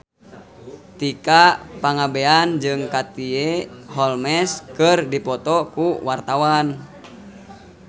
Tika Pangabean jeung Katie Holmes keur dipoto ku wartawan